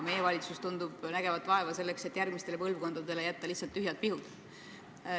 Meie valitsus tundub vaeva nägevat selle nimel, et jätta järgmistele põlvkondadele lihtsalt tühjad pihud.